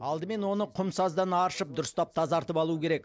алдымен оны құм саздан аршып дұрыстап тазартып алу керек